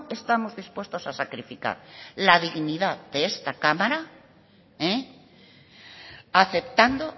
estamos dispuestos a sacrificar la dignidad de esta cámara aceptando